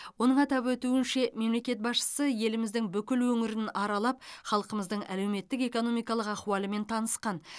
оның атап өтуінше мемлекет басшысы еліміздің бүкіл өңірін аралап халқымыздың әлеуметтік экономикалық ахуалымен танысқан